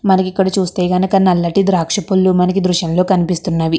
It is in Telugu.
మనకి ఇక్కడ చూస్తే గనుక నల్లటి ద్రాక్ష పొల్లు మనకి దృశ్యం లో కనిపిస్తున్నవి.